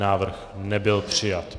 Návrh nebyl přijat.